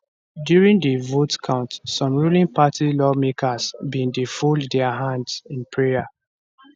during di vote count some ruling party lawmakers bin dey fold dia hands in prayer